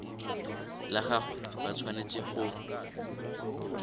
la gagwe ba tshwanetse go